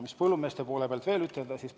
Mida põllumeeste poole pealt veel ütelda?